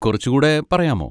കുറച്ചുകൂടെ പറയാമോ?